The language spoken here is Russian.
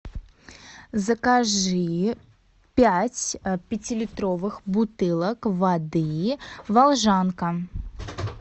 закажи пять пятилитровых бутылок воды волжанка